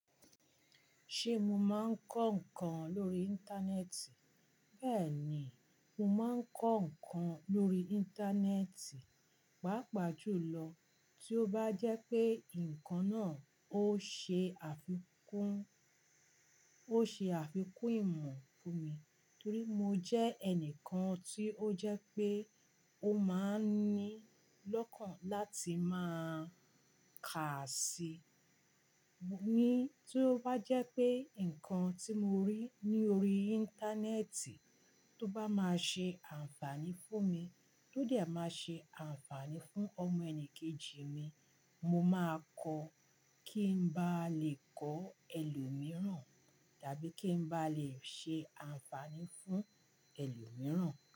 Sé mo máa ń kọ́ nǹkan lórí Íńtánẹ́ẹ̀tì? Bẹ́ẹ̀ ni, mo máa ń kọ́ nǹkan lórí Íńtánẹ́ẹ̀tì, pàápàá jùlọ tí ó bá jẹ́ pé nǹkan náà ó se àfikún, ó se àfikún ìmọ̀ fún mi torí mo jẹ́ ẹnìkan tí ó jẹ́ pé ó máa ń ní lọ́kàn láti máa kà sí. Ni tí ó bá jẹ́ pé nǹkan tí mo rí ní orí Íńtánẹ́ẹ̀tì tó bá máa ṣe àǹfààní fún mi, tó dẹ máa ṣe àǹfààní fún ọmọ ẹni kejì mi, mo máa kọ kí n bá lè kọ́ ẹlòmíràn, dàbí kí n bá lè ṣe àǹfààní fún ẹlòmíràn.